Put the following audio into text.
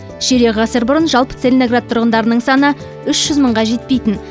ширек ғасыр бұрын жалпы целиноград тұрғындарының саны үш жүз мыңға жетпейтін